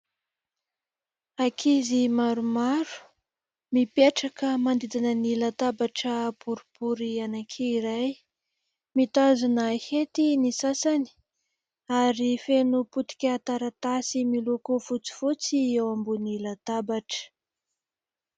Ankizy maromaro, mipetraka manodidina ny latabatra boribory anakiray, mitazona hety ny sasany ary feno potika taratasy miloko fotsifotsy eo ambony latabatra.